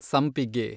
ಸಂಪಿಗೆ